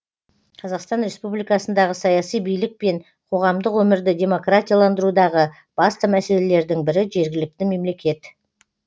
қазақстан республикасындағы саяси билік пен қоғамдық өмірді демократияландырудағы басты мәселелердің бірі жергілікті мемлекет